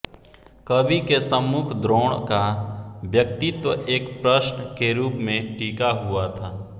कवि के सम्मुख द्रोण का व्यक्तित्व एक प्रश्न के रूप में टिका हुआ था